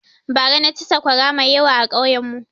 Bara na ci saƙwara mai yawa a ƙauyen mu